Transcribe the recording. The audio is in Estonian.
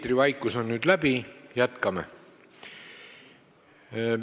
Eetrivaikus on nüüd läbi, jätkame.